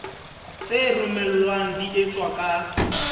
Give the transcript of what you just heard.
tse romellwang di etswa ka